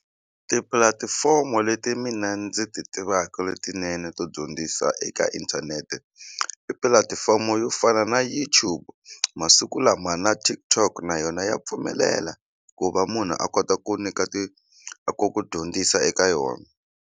Tipulatifomo leti mina ndzi ti tivaka letinene to dyondzisa eka inthanete i pulatifomo yo fana na YouTube masiku lama na TikTok na yona ya pfumelela ku va munhu a kota ku nyika ti ku ku dyondzisa eka yona.